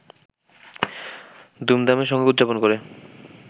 ধুমধামের সঙ্গে উদযাপন করে